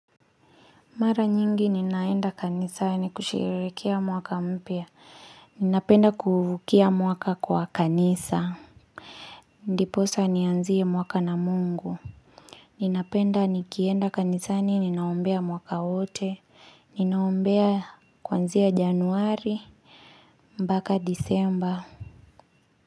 Mara nyingi ninaenda kanisani kusherehekea mwaka mpya. Ninapenda kuuvukia mwaka kwa kanisa. Ndiposa nianzie mwaka na Mungu. Ninapenda nikienda kanisani ninaombea mwaka wote. Ninaombea kuanzia januari. Mpaka disemba.